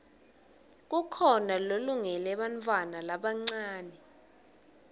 kukhona lolungele bantfwana labancane